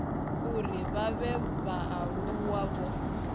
uri vha vhe vhaaluwa vho